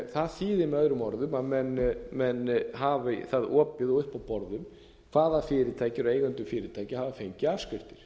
það þýðir með öðrum árum að menn hafa það opið uppi á borðum hvaða fyrirtæki eru eigendur fyrirtækja og hafa fengið afskriftir